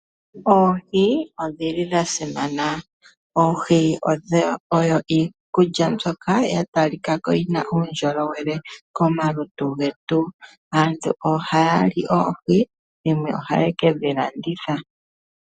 Oohi odhi li dha simana oohi oyo iikulya mbyoka ya talika ko yina uundjolowele komalutu getu, aantu oha ya li oohi yimwe oha ye ke dhi landitha.